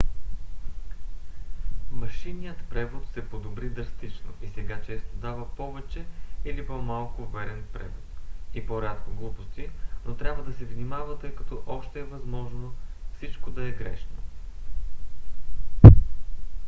машинният превод се подобри драстично и сега често дава повече или по-малко верен превод и по-рядко глупости но трябва да се внимава тъй като още е възможно всичко да е грешно